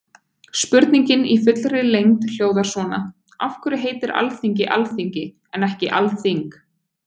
Spurningin í fullri lengd hljóðar svona: Af hverju heitir Alþingi Alþingi en ekki Alþing?